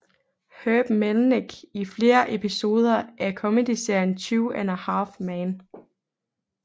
Herb Melnick i flere episoder af komedieserien Two and a Half Men